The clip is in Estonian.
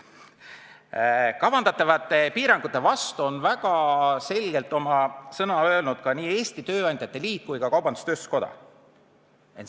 Kavandatavate piirangute vastu on väga selgelt sõna võtnud ka Eesti Tööandjate Keskliit ja Eesti Kaubandus-Tööstuskoda.